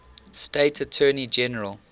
state attorney general